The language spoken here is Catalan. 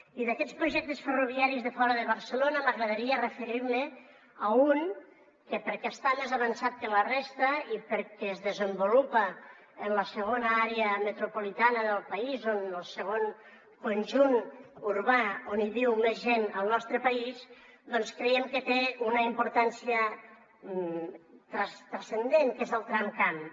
i d’aquests projectes ferroviaris de fora de barcelona m’agradaria referir me a un que perquè està més avançat que la resta i perquè es desenvolupa en la segona àrea metropolitana del país o en el segon conjunt urbà on viu més gent al nostre país doncs creiem que té una importància transcendent que és el tramcamp